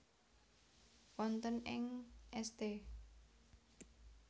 Wonten ing St